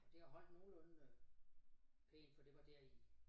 Og det har holdt nogenlunde øh pænt for det var der i